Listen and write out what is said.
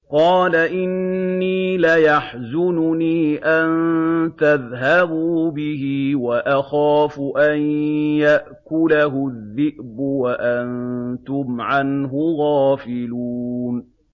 قَالَ إِنِّي لَيَحْزُنُنِي أَن تَذْهَبُوا بِهِ وَأَخَافُ أَن يَأْكُلَهُ الذِّئْبُ وَأَنتُمْ عَنْهُ غَافِلُونَ